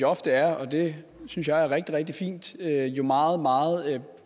ofte er og det synes jeg er rigtig rigtig fint meget meget